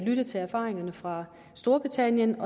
lyttet til erfaringerne fra storbritannien